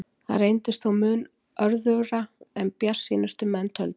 Það reyndist þó mun örðugra en bjartsýnustu menn töldu.